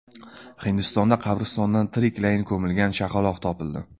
Hindistonda qabristondan tiriklayin ko‘milgan chaqaloq topildi .